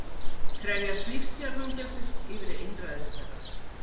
Krefjast lífstíðarfangelsis yfir einræðisherra